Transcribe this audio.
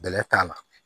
Bɛlɛ t'a la